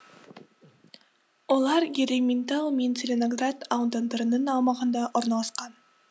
олар ерейментау мен целиноград аудандарының аумағында орналасқан